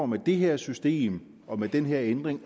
med det her system og med den her ændring